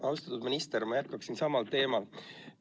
Austatud minister, ma jätkan samal teemal.